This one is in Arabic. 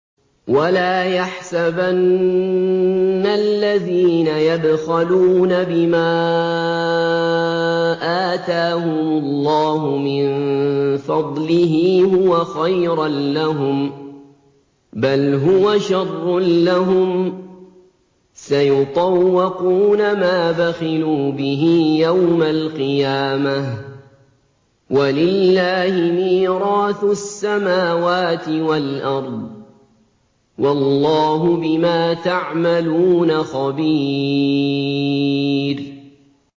وَلَا يَحْسَبَنَّ الَّذِينَ يَبْخَلُونَ بِمَا آتَاهُمُ اللَّهُ مِن فَضْلِهِ هُوَ خَيْرًا لَّهُم ۖ بَلْ هُوَ شَرٌّ لَّهُمْ ۖ سَيُطَوَّقُونَ مَا بَخِلُوا بِهِ يَوْمَ الْقِيَامَةِ ۗ وَلِلَّهِ مِيرَاثُ السَّمَاوَاتِ وَالْأَرْضِ ۗ وَاللَّهُ بِمَا تَعْمَلُونَ خَبِيرٌ